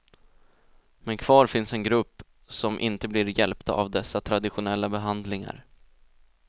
Men kvar finns en grupp, som inte blir hjälpta av dessa traditionella behandlingar.